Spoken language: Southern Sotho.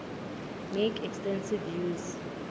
make extensive use